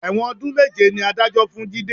Ẹ̀wọ̀n ọdún méje ni Adájọ́ fún Jide